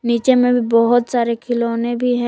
नीचे में भी बहोत सारे खिलौने भी है।